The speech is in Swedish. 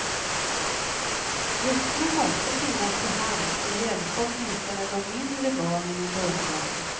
Vuxna måste finnas till hands och hjälpa åtminstone de mindre barnen i början.